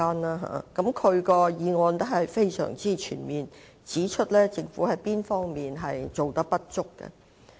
他的議案內容非常全面，指出政府有哪些不足之處。